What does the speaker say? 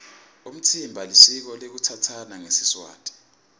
umtsimba lisiko lekutsatsana ngesiswati